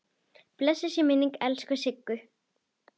Blessuð sé minning elsku Siggu.